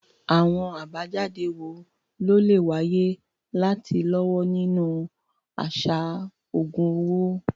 Àwọn àbájáde wo ló lè wáyé láti lọ́wọ́ nínú àṣà owó?